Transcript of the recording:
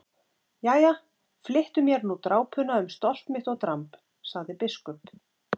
Jæja, flyttu mér nú drápuna um stolt mitt og dramb, sagði biskup.